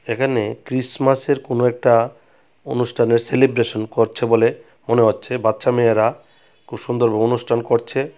এখানে ক্রিসমাসের -এর কোনো একটা অনুষ্ঠানের সেলিব্রেশন করছে বলে মনে হচ্ছে বাচ্চা মেয়েরা খুব সুন্দর ভাবে অনুষ্ঠান করছে।